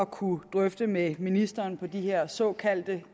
kunne drøfte med ministeren på de her såkaldt